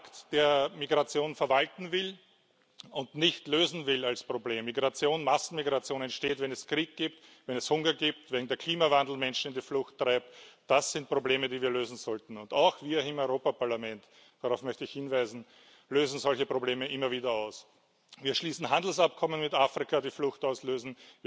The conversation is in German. Das ist ein Pakt, der Migration verwalten will und nicht als Problem lösen will. Massenmigration entsteht, wenn es Krieg gibt, wenn es Hunger gibt, wenn der Klimawandel Menschen in die Flucht treibt. Das sind Probleme, die wir lösen sollten. Auch wir hier im Europäischen Parlament darauf möchte ich hinweisen lösen solche Probleme immer wieder aus. Wir schließen Handelsabkommen mit Afrika, die Flucht